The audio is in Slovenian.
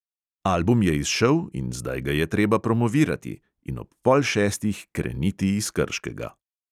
Album je izšel in zdaj ga je treba promovirati – in ob pol šestih kreniti iz krškega.